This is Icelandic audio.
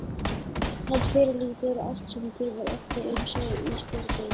Hann fyrirlítur allt sem gefur eftir einsog Ísbjörg veit.